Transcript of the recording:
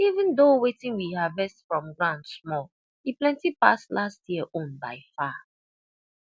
even though wetin we harvest from ground small e plenty pass last year own by far